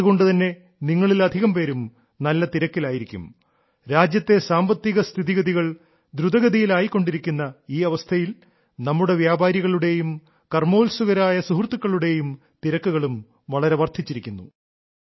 അതുകൊണ്ടു തന്നെ നിങ്ങളിൽ അധികം പേരും നല്ല തിരക്കിലായിരിക്കും രാജ്യത്തെ സാമ്പത്തിക സ്ഥിതിഗതികൾ ദ്രുതഗതിയിലായിക്കൊണ്ടിരിക്കുന്ന ഈ അവസ്ഥയിൽ നമ്മുടെ വ്യാപാരികളുടെയും കർമ്മോത്സുകരായ സുഹൃത്തുക്കളുടെയും തിരക്കുകളും വളരെ വർദ്ധിച്ചിരിക്കുന്നു